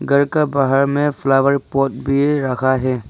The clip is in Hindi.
घर का बाहर में फ्लावर पॉट भी रखा है।